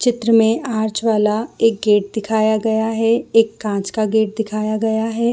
चित्र में आर्ज वाला एक गेट दिखाया गया है एक काँच का गेट दिखाया गया है।